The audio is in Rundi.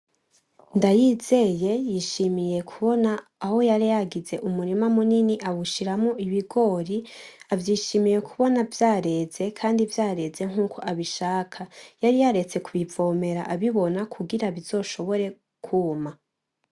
Ndayizeye yishimiye kubona aho yari yagize umurima munini awushiramwo ibigori, avyishimiye kubona vyareze nkuko abishaka, yari yaretse kubivomera abibona kugira bizoshobore kuma.